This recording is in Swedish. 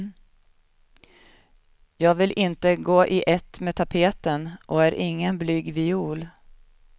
Jag vill inte gå i ett med tapeten och är ingen blyg viol.